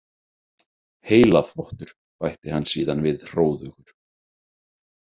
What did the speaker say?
Heilaþvottur, bætti hann síðan við hróðugur.